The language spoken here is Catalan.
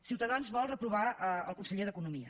ciutadans vol reprovar el conseller d’economia